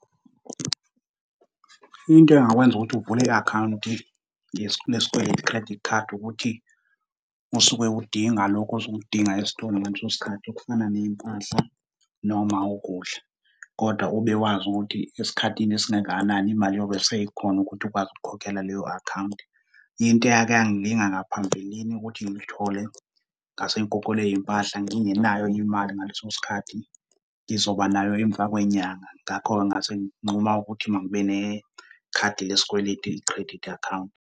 Into engakwenza ukuthi uvule i-akhawunti ngesikweletu i-credit card ukuthi usuke udinga lokho osuke ukudinga esitolo ngaleso sikhathi okufana ney'mpahla noma ukudla, kodwa ube wazi ukuthi esikhathini esingangakanani imali iyobe seyikhona ukuthi ukwazi ukuyikhokhela leyo akhawunti. Into eyake yangilinga ngaphambilini ukuthi ngilithole, ngase ngigugelwe iy'mpahla ngingenayo imali ngaleso sikhathi, ngizobanayo emva kwenyanga. Ngakho-ke ngase nginquma ukuthi ngibe ne-card lesikweletu, i-credit account.